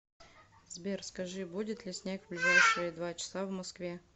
сбер скажи будет ли снег в ближайшие два часа в москве